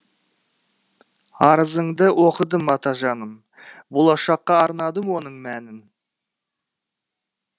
арызыңды оқыдым атажаным болашаққа арнадың оның мәнін